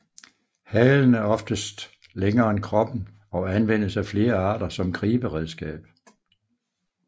Halen er oftest længere end kroppen og anvendes af flere arter som griberedskab